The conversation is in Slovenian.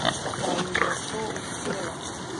Pa jim bo to uspelo?